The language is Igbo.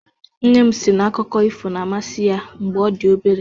Nne m si na akụkọ ifo na-amasị ya mgbe ọ dị obere.